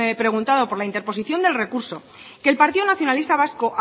preguntado por la interposición del recurso que el partido nacionalista vasco